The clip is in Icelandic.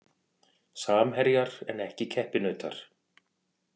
Samherjar en ekki keppinautar